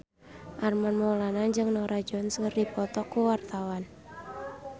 Armand Maulana jeung Norah Jones keur dipoto ku wartawan